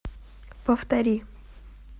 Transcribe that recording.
повтори